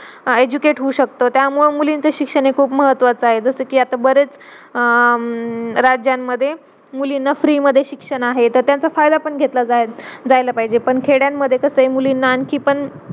educate होऊ शकत त्यामूळ मुलींचा शिक्षण ही खूप महत्वाच आहे. जसा कि आता बरेच राज्यांमध्ये मुलींना free मध्ये शिक्षण आहे त त्यांचा फायदा पण घेतला जायला पाहिजे पण खेड्यांमध्ये कसा आहे मुलींना आणखी पण